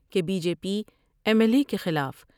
کہ B J P M L A کے خلاف ۔